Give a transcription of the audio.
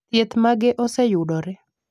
thieth mage oseyudore